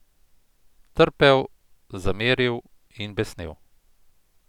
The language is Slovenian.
Trpel, zameril in besnel.